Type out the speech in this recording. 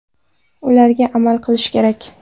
Ularga amal qilish kerak.